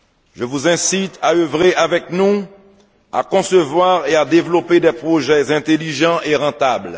Je vous incite à œuvrer avec nous, à concevoir et à développer des projets intelligents et rentables.